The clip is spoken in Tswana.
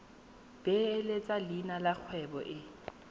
beeletsa leina la kgwebo e